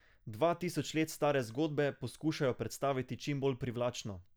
Dva tisoč let stare zgodbe poskušajo predstaviti čim bolj privlačno.